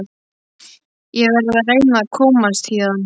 Ég verð að reyna að komast héðan.